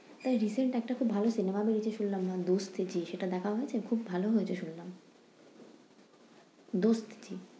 তাই recent একটা খুব ভালো cinema বেড়িয়েছে শুনলাম দোস্ত হেয়, দোস্ত হেয়।